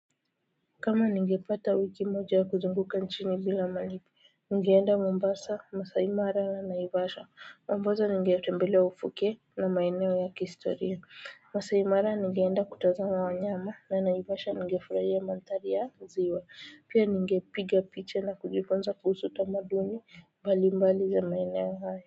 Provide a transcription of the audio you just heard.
Kama ningepata wiki moja ya kuzunguka nchini bila malipo, ningeenda Mombasa, Maasai Mara na Naivasha. Pamoja ningetembelea ufuke na maeneo ya kihistoria. Maasai Mara ningeenda kutazama wanyama na Naivasha ningefurahia mandhari ya ziwa. Pia ningepiga picha na kujifunza kuhusu tamaduni mbalimbali ya maeneo haya.